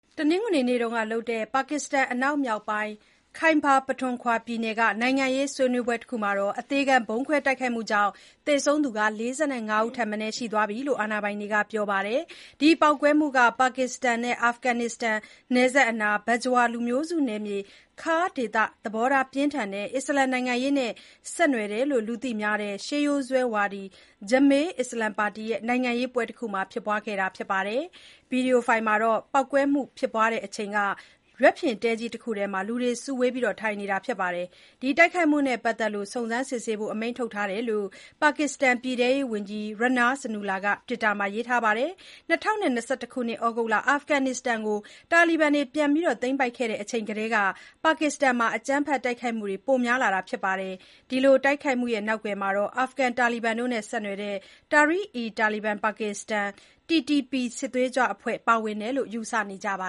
တနင်္ဂနွေနေ့ကလုပ်တဲ့ ပါကစ္စတန် အနောက်မြောက်ပိုင်း Khyber Pakhtunkhwa ပြည်နယ်က နိုင်ငံရေးစုဝေးပွဲတခုမှာ အသေခံဗုံးခွဲတိုက်ခိုက်မှုတခုကြောင့် သေဆုံးသူ ၄၅ ဦးထက်မနည်းရှိသွားပြီလို့ အာဏာပိုင်တွေကပြောပါတယ်။ ပေါက်ကွဲမှုက ပါကစ္စတန်နဲ့ အာဖဂန်နစ္စတန်နယ်စပ်နား Bajaur လူမျိုးစုနယ်မြေ Khar ဒေသ သဘောထားပြင်းထန်တဲ့ အစ္စလာမ်နိုင်ငံရေးနဲ့ဆက်နွယ်တယ်လို့ လူသိများတဲ့ ရှေးရိုးစွဲဝါဒီ Jamiat Ulema Islam (JUI-F) ပါတီရဲ့ နိုင်ငံရေးပွဲတခုမှာ ဖြစ်ခဲ့တာပါ။ ဗီဒီယိုဖိုင်တခုမှာတော့ ပေါက်ကွဲမှုဖြစ်ပွါးတဲ့ အချိန်က ရွက်ဖျဉ်တဲကြီးတခုထဲ လူတွေစုဝေးထိုင်နေတာကို တွေ့ရပါတယ်။ ဒီတိုက်ခိုက်မှုနဲ့ ပတ်သက်လို့ စုံစမ်းစစ်ဆေးဖို့ အမိန့်ထုတ်ထားတယ်လို့ ပါကစ္စတန်ပြည်ထဲရေးဝန်ကြီး Rana Sanaullah ကတွစ်တာမှာရေးပါတယ်။ ၂၀၂၁ သြဂုတ်လ အာဖဂန်နစ္စတန်ကို တာလီဘန်တွေ ပြန်ပြီးသိမ်းပိုက်ခဲ့တဲ့ အချိန်ကတည်းက ပါကစ္စတန်မှာ အကြမ်းဖက်တိုက်ခိုက်မှုတွေပိုများလာပါတယ်။ ဒီလိုတိုက်ခိုက်မှုတွေနောက်ကွယ်မှာ အာဖဂန်တာလီဘန်တို့နဲ့ ဆက်နွယ်တဲ့ Tehreek-e-Taliban Pakistan (TTP) စစ်သွေးကြွအဖွဲ့ ပါဝင်တယ်လို့ ယူဆကြတာပါ